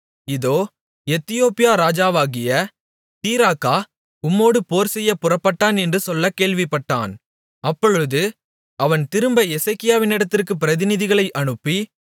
இதோ எத்தியோப்பியா ராஜாவாகிய தீராக்கா உம்மோடு போர்செய்யப் புறப்பட்டான் என்று சொல்லக் கேள்விப்பட்டான் அப்பொழுது அவன் திரும்ப எசேக்கியாவினிடத்திற்கு பிரதிநிதிகளை அனுப்பி